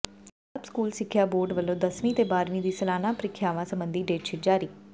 Punjab school ਸਿੱਖਿਆ board ਵੱਲੋਂ ਦਸਵੀਂ ਤੇ ਬਾਰ੍ਹਵੀਂ ਦੀ ਸਾਲਾਨਾ ਪ੍ਰੀਖਿਆਵਾਂ ਸਬੰਧੀ ਡੇਟਸ਼ੀਟ ਜਾਰੀ